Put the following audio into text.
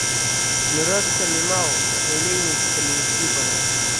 Miroodhka limao waxay leeyihiin fitamiin C badan.